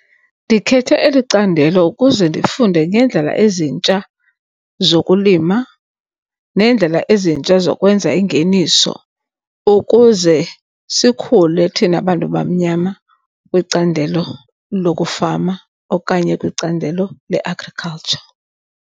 Ndikhethe eli candelo ukuze ndifunde ngeendlela ezintsha zokulima neendlela ezintsha zokwenza ingeniso ukuze sikhule thina bantu bamnyama kwicandelo lokufama okanye kwicandelo le-agriculture.